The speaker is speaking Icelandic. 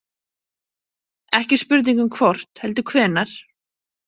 Ekki spurning um hvort heldur hvenær.